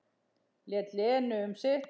Lét Lenu um sitt.